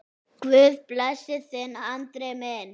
Guð blessi þig, Andri minn.